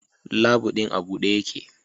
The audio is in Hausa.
Labu din a bude yake